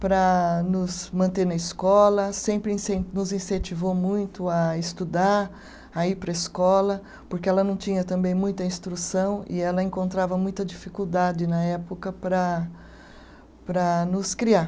Para nos manter na escola, sempre incen, nos incentivou muito a estudar, a ir para a escola, porque ela não tinha também muita instrução e ela encontrava muita dificuldade na época para, para nos criar.